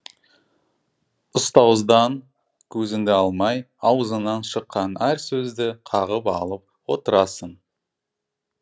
ұстаздан көзіңді алмай аузынан шыққан әр сөзді қағып алып отырасың